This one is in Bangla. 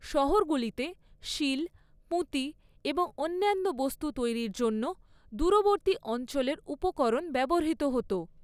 শহরগুলিতে সীল, পুঁতি এবং অন্যান্য বস্তু তৈরির জন্য দূরবর্তী অঞ্চলের উপকরণ ব্যবহৃত হত।